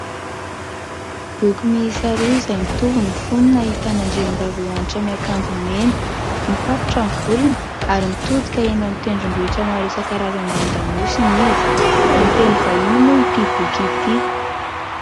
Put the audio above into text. Boky miisa roa izay mitovy ny fonony, ahitana andriambavilanitra miakanjo mena, mifatotra ny volony ary mitodika eny an-tendrombohitra maro isan-karazany any an-damosiny izy, amin'ny teny vahiny moa ity boky ity.